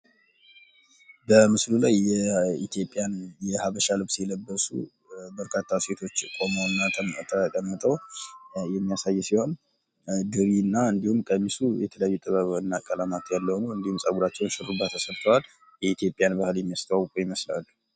በምስሉ ላይ የኢትዮጵያን የሃበሻ ለብስ የለብሱ በርካታ ሴቶች ቆመውና ተቀምጠው የሚያሳይ ምሰል ነው፤ የኢትዮጵያን ባህል የሚያሳይ ልብስ ነው የለበሱት።